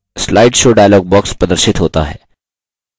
slide show dialog box प्रदर्शित होता है